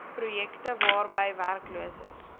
projekte waarby werkloses